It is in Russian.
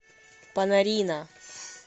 панарина